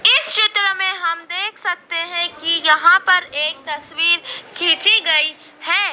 इस चित्र में हम देख सकते हैं कि यहां पर एक तस्वीर खिंची गई है।